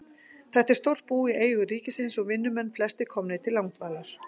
Þetta er stórt bú í eigu ríkisins og vinnumenn flestir komnir til langdvalar.